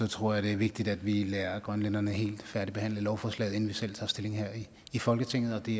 tror jeg det er vigtigt at vi lader grønlænderne helt færdigbehandle lovforslaget inden vi selv tager stilling her i folketinget og det